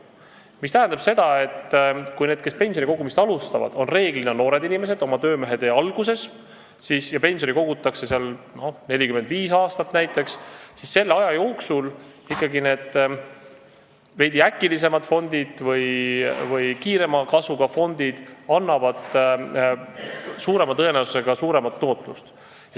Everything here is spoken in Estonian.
See tähendab seda, et kuna need, kes pensioni kogumist alustavad, on enamasti noored inimesed, oma töömehetee alguses, ja pensioni kogutakse näiteks 45 aastat, siis selle aja jooksul ikkagi need veidi äkilisemad või kiirema kasvuga fondid annavad tõenäoliselt suuremat tootlust.